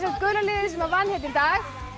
gula liðið sem vann hérna í dag hér